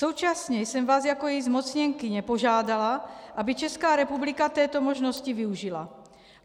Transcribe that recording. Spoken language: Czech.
Současně jsem vás jako její zmocněnkyně požádala, aby Česká republika této možnosti využila.